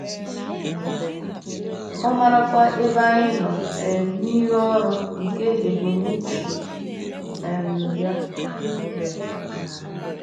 Ọ maarakwa ebe anyị nọ um n’ịrụ ọrụ nke ebumnuche um ya.